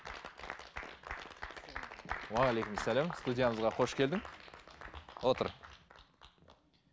уағалейкумассалам студиямызға қош келдің отыр